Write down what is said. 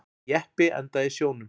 Jeppi endaði í sjónum